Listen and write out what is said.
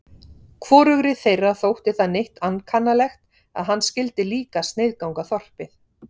Hvorugri þeirra þótti það neitt ankannalegt að hann skyldi líka sniðganga þorpið.